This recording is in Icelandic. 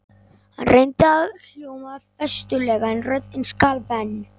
Hann reyndi að hljóma festulega en röddin skalf enn.